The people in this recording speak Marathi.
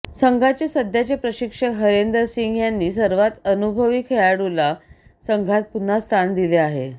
संघाचे सध्याचे प्रशिक्षक हरेंदर सिंग यांनी सर्वात अनुभवी खेळाडूला संघात पुन्हा स्थान दिले आहे